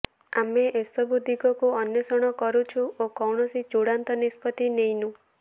ଆମେ ଏସବୁ ଦିଗକୁ ଅନ୍ୱେଷଣ କରୁଛୁ ଓ କୌଣସି ଚୂଡ଼ାନ୍ତ ନିଷ୍ପତ୍ତି ନେଇନୁ